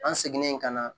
An seginen ka na